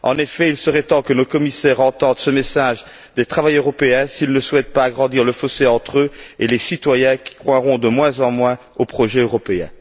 En effet, il serait temps que nos commissaires entendent ce message des travailleurs européens s'il ne souhaite pas agrandir le fossé entre eux et les citoyens, qui croiront de moins en moins au projet européen.